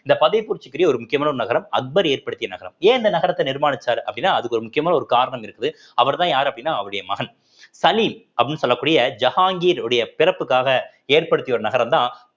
இந்த ஃபத்தேப்பூர் சிக்ரி ஒரு முக்கியமான ஒரு நகரம் அக்பர் ஏற்படுத்திய நகரம் ஏன் இந்த நகரத்தை நிர்மானிச்சாரு அப்படின்னா அதுக்கு ஒரு முக்கியமான ஒரு காரணம் இருக்குது அவர்தான் யாரு அப்படின்னா அவருடைய மகன் சலீம் அப்படின்னு சொல்லக்கூடிய ஜஹாங்கீர் உடைய பிறப்புக்காக ஏற்படுத்திய ஒரு நகரம்தான்